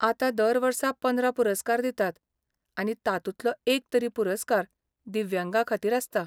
आतां दर वर्सा पंदरा पुरस्कार दितात आनी तातूंतलो एक तरी पुरस्कार दिव्यांगांखातीर आसता.